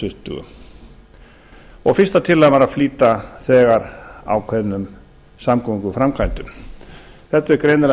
tuttugu fyrsta tillagan var að flýta þegar ákveðnum samgönguframkvæmdum þetta er greinilega